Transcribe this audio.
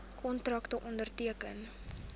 kontrakte onderteken